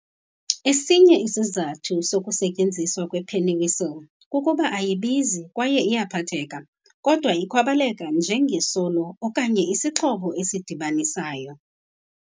Esinye isizathu sokusetyenziswa kwepennywhistle kukuba ayibizi kwaye iyaphatheka, kodwa ikwaboleka njenge solo okanye isixhobo esidibanisayo.